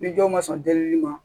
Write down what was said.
Ni jɔn ma sɔn delili ma